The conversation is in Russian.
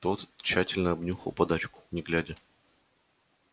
тот тщательно обнюхал подачку не глядя